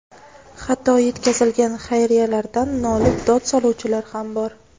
hatto yetkazilgan xayriyalardan nolib dod soluvchilar ham bor.